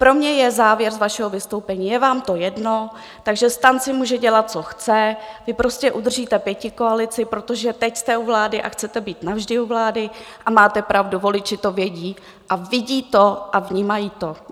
Pro mě je závěr z vašeho vystoupení - je vám to jedno, takže STAN si může dělat, co chce, vy prostě udržíte pětikoalici, protože teď jste u vlády a chcete být navždy u vlády, a máte pravdu, voliči to vědí a vidí to a vnímají to.